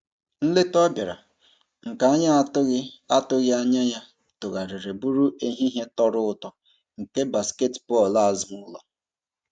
Nleta ọ bịara, nke anyị atụghị atụghị anya ya tụgharịrị bụrụ ehihie tọrọ ụtọ nke basketbọọlụ azụụlọ.